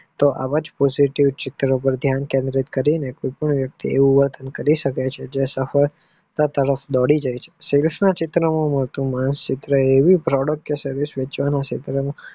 તો આવાજ પ્રસિદ્ધ ઉપજનો ધ્યાન કેન્દ્રિત કરીને કરી શકો છો બાળી ગયા છે સફળતા તરફ દોડી જાય છે માણસ ચિત્ર product ચિત્રનું